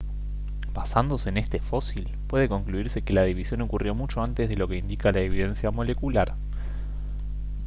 basándose en este fósil puede concluirse que la división ocurrió mucho antes de lo que indica la evidencia molecular